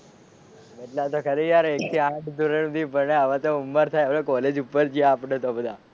બદલાઈ તો ખરી એક થી આઠ ધોરણ સુધી ભણ્યા હવે તો ઉમર થઈ કોલેજ ઉપર ગયા આપણે તો બધા.